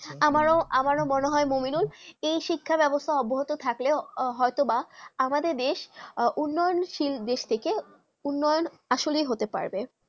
আমার মনে হয়ে মমিদুল কি শিক্ষা বেবস্তা অভ্যতা থাকলে হয়ে তো বা আমাদের দেশ উন্নয়নশীল দেশ থেকে উন্নায়ন আসলে হতে পারবে